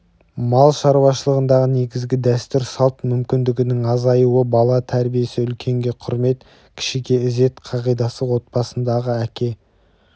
мал шаруашылығындағы негізгі дәстүр-салт мүмкіндігінің азаюы бала тәрбиесі үлкенге құрмет кішіге ізет қағидасы отбасындағы әке